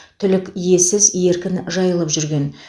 түлік иесіз еркін жайылып жүрген